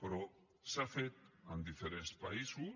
però s’ha fet en diferents països